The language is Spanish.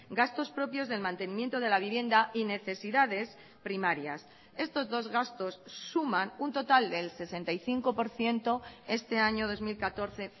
gastos propios del mantenimiento de la vivienda y necesidades primarias estos dos gastos suman un total del sesenta y cinco por ciento este año dos mil catorce